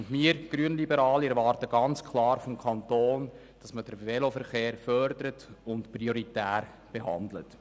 Wir Grünliberalen erwarten ganz klar vom Kanton, dass man den Veloverkehr fördert und prioritär behandelt.